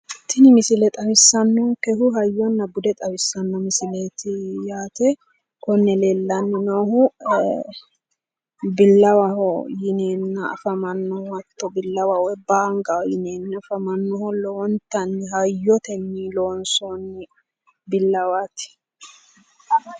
Tini misile xawissanonikehu hayyona bude xaeisanno misileet yaate konne leelanni noohu billawaho yineena afamannoho yaate hatto billawaho woy baanigaho yineena afamanoho lowonitanni hayyoteni loonisoon billawaat